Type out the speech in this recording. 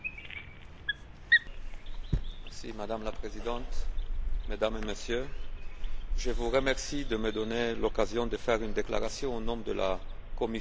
Madame la Présidente, Mesdames et Messieurs, je vous remercie de me donner l'occasion de faire une déclaration au nom de la Commission sur l'augmentation des prix alimentaires.